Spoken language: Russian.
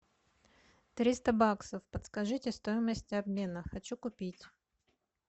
триста баксов подскажите стоимость обмена хочу купить